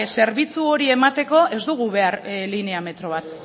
zerbitzu hori emateko ez dugu behar linea metro bat